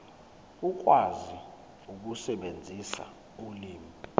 ukwazi ukusebenzisa ulimi